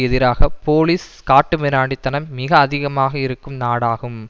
எதிராக போலீஸ் காட்டுமிராண்டி தனம் மிக அதிகமாக இருக்கும் நாடாகும்